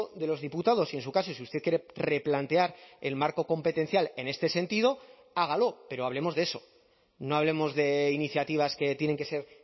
de los diputados y en su caso si usted quiere replantear el marco competencial en este sentido hágalo pero hablemos de eso no hablemos de iniciativas que tienen que ser